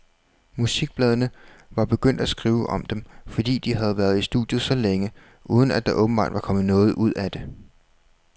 Musikbladene var begyndt at skrive om dem, fordi de havde været i studiet så længe, uden at der åbenbart kom noget ud af det.